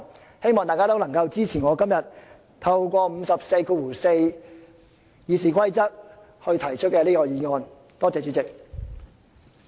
我希望大家支持我今天根據《議事規則》第544條提出的這項議案，多謝主席。